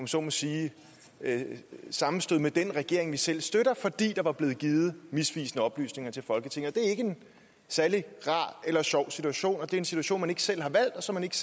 så må sige sammenstød med den regering man selv støtter fordi der var blevet givet misvisende oplysninger til folketinget det er ikke en særlig rar eller sjov situation og det er en situation man ikke selv har valgt og som man ikke